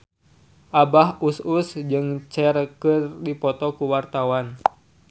Abah Us Us jeung Cher keur dipoto ku wartawan